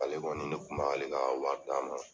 Ale kɔni ne kun b'a ale ka waati d'a ma.